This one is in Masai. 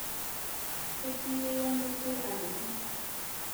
Keti yeiyo ngoitei alotu